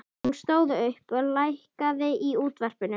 Hún stóð upp og lækkaði í útvarpinu.